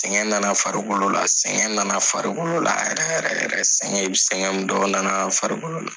Sɛgɛn nana farikolo la sɛgɛn nana farikolo la yɛrɛ yɛrɛ yɛrɛ sɛgɛn sɛgɛn i bɛ sɛgɛn min dɔn o nana farikolo la.